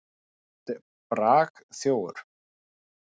Þú ert bragþjófur.